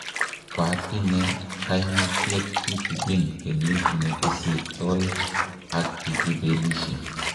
Kwatinye kaimutiet kitigin kenyit ne kosirtoi ak kikibelishe.